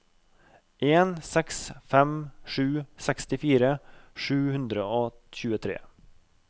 en seks fem sju sekstifire sju hundre og tjuetre